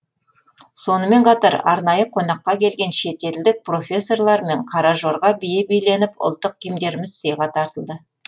сонымен қатар арнайы қонаққа келген шетелдік профессорлармен қара жорға биі биленіп ұлттық киімдеріміз сыйға тартылды